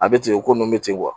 A bɛ ten, o ko ninnu bɛ ten